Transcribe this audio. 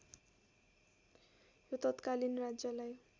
यो तत्कालीन राज्यलाई